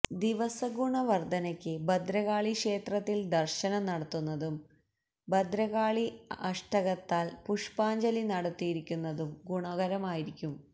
ദിവസഗുണവർധനയ്ക്ക് ഭദ്രകാളി ക്ഷേത്രത്തിൽ ദർശനം നടത്തുന്നതും ഭദ്രകാളി അഷ്ടകത്താൽ പുഷ്പാഞ്ജലി നടത്തിക്കുന്നതും ഗുണകരമായിരിക്കും